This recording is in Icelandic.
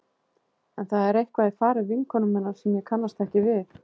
En það er eitthvað í fari vinkonu minnar sem ég kannast ekki við.